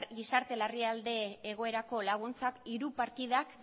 gizarte larrialdi egoerako laguntzak hiru partidak